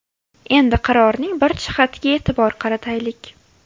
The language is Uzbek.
Endi qarorning bir jihatiga e’tibor qarataylik.